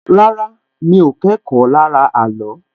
Rárá, mi ò kẹ́kọ̀ọ́ lára ààlọ́